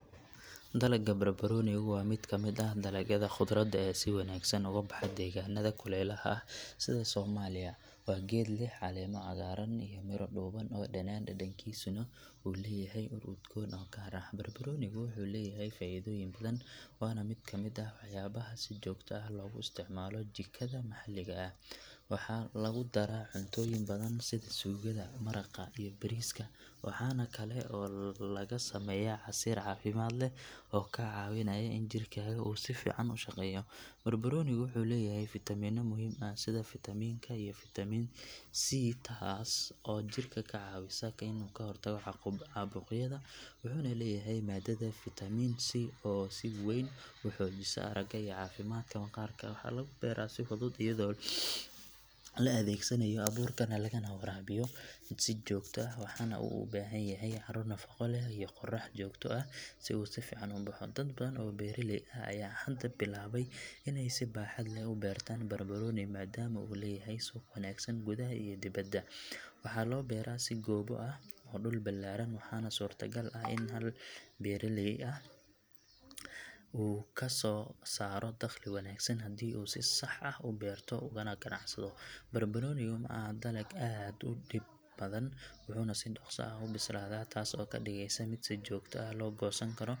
Dalagga barbaroonigu waa mid ka mid ah dalagyada khudradda ee si wanaagsan uga baxa deegaanada kulaylaha ah sida Soomaaliya. Waa geed leh caleemo cagaaran iyo miro dhuuban oo dhanaan dhadhankiisuna uu leeyahay ur udgoon oo gaar ah. Barbaroonigu wuxuu leeyahay faa’iidooyin badan waana mid ka mid ah waxyaabaha si joogto ah loogu isticmaalo jikada maxalliga ah. Waxaa lagu daraa cuntooyin badan sida suugada, maraqa iyo bariiska waxaana kale oo laga sameeyaa casiir caafimaad leh oo kaa caawinaya in jirkaaga uu si fiican u shaqeeyo. Barbaroonigu wuxuu leeyahay fitamiino muhiim ah sida fitamiin ka iyo fitamiin sii taas oo jirka ka caawisa inuu ka hortago caabuqyada wuxuuna leeyahay maadada faytamiin sii oo si weyn u xoojisa aragga iyo caafimaadka maqaarka. Waxaa lagu beeraa si fudud iyadoo la adeegsanayo abuurka lagana waraabiyo si joogto ah waxaana uu u baahan yahay carro nafaqo leh iyo qorrax joogto ah si uu si fiican u baxo. Dad badan oo beeraley ah ayaa hadda bilaabay in ay si baaxad leh u beertaan barbarooni maadaama uu leeyahay suuq wanaagsan gudaha iyo dibadda. Waxaa loo beeraa si goobo ah ama dhul ballaaran waxaana suurtagal ah in hal beeraley uu kasoo saaro dakhli wanaagsan haddii uu si sax ah u beerto ugana ganacsado. Barbaroonigu ma aha dalag aad u dhib badan wuxuuna si dhakhso ah u bislaadaa taas oo ka dhigaysa mid si joogto ah loo goosan karo.